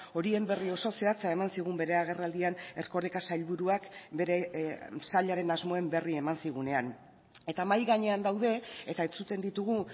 horien berri oso zehatza eman zigun bere agerraldian erkoreka sailburuak bere sailaren asmoen berri eman zigunean eta mahai gainean daude eta entzuten ditugu